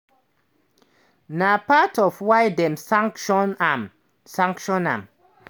na part of why dem sanction am. sanction am.